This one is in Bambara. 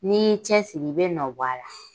N'i cɛsiri i bɛ nɔ bɔ a la.